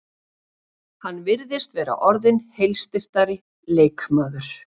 Hann virðist vera orðinn heilsteyptari leikmaður.